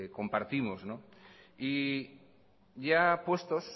compartimos y ya puestos